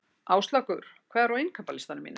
Áslákur, hvað er á innkaupalistanum mínum?